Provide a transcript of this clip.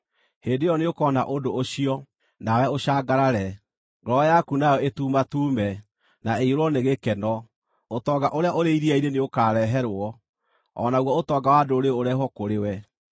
Hĩndĩ ĩyo nĩũkona ũndũ ũcio, nawe ũcangarare, ngoro yaku nayo ĩtuumatuume, na ĩiyũrwo nĩ gĩkeno; ũtonga ũrĩa ũrĩ iria-inĩ nĩũkareherwo, o naguo ũtonga wa ndũrĩrĩ ũrehwo kũrĩ we.